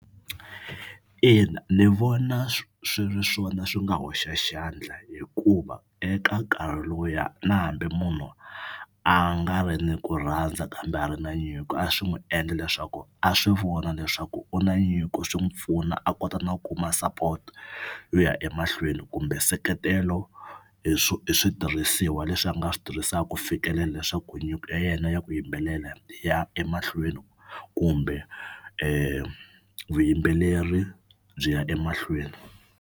Ina ni vona swi ri swona swi nga hoxa xandla hikuva eka nkarhi lowuya na hambi munhu a nga ri ni ku rhandza kambe a ri na nyiko a swi n'wi endla leswaku a swi vona leswaku u na nyiko swi n'wi pfuna a kota na ku kuma support yo ya emahlweni kumbe nseketelo hi switirhisiwa leswi a nga swi tirhisaka ku fikelela leswaku nyiko ya yena ya ku yimbelela ya emahlweni kumbe vuyimbeleri byi ya emahlweni.